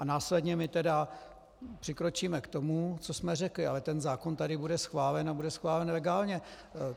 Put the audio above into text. A následně my tedy přikročíme k tomu, co jsme řekli, ale ten zákon tady bude schválen a bude schválen legálně.